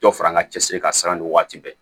Dɔ fara n ka cɛsiri kan siran nin waati bɛɛ